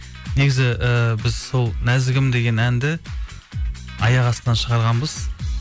негізі ііі біз сол нәзігім деген әнді аяқ астынан шығарғанбыз